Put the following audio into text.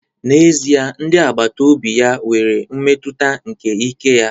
N'ezie, ndị agbata obi ya nwere mmetụta nke ike ya